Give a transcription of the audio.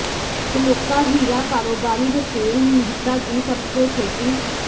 ਸ਼ਲੋਕਾ ਹੀਰਾ ਕਾਰੋਬਾਰੀ ਰਸੇਲ ਮਿਹਤਾ ਦੀ ਸਭ ਤੋਂ ਛੋਟੀ